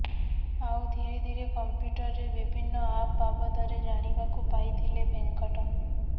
ଆଉ ଧୀରେ ଧୀରେ କମ୍ପୁଟରରେ ବିଭିନ୍ନ ଆପ୍ ବାବଦରେ ଜାଣିବାକୁ ପାଇଥିଲେ ଭେଙ୍କଟ